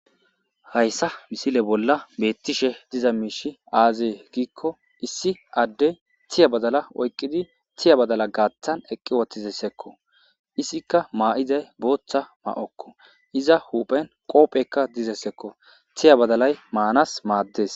Hayssa misile bolla beettishe diza miishi aazee giikko issi adde thiya badala oyqqidi thiya badala gaaththan eqqi wotizessekko issikka maa'izay booththa ma'okko iza huphen qoophekka dizessekko thiya badalay maanas maaddes.